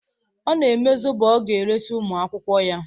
Ọ na-eme zobo ọ ga-eresi ụmụ akwụkwọ ya.